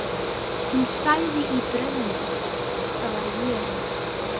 Hún sagði í draumnum: Það var ég.